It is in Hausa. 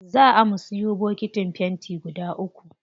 Zaa mu siyo bokitin fenti guda uku.